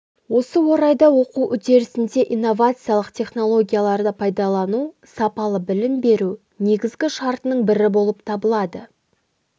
осы орайда оқу үдерісінде инновациялық технологияларды пайдалану сапалы білім беру негізгі шартының бірі болып табылады